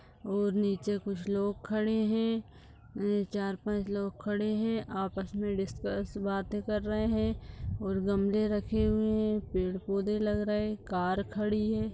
वो नीचे कुछ लोग खड़े हैं चार पांच लोग खड़े हैं आपस में डिस्कस बाते कर रहे हैं और गमले रखे हुए है पेड़-पौधे लग रहे कार खड़ी है।